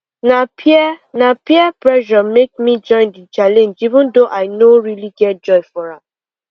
na peer na peer pressure make me join the challenge even though i no really get joy for am